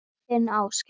Þinn Ásgeir.